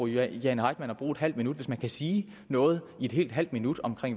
jane heitmann at bruge et halvt minut hvis man kan sige noget i et helt halvt minut om